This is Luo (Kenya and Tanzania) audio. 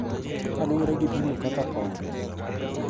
Kaluwore gi pimo kaka paro,